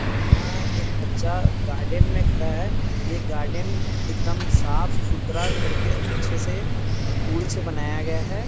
यहाँ एक बच्चा गार्डेन में खड़ा है ये गार्डेन एकदम साफ सुथरा करके अच्छे से फूल से बनाया गया है।